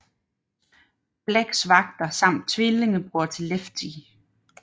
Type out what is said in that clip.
Blacks vagter samt tvillingebror til Lefty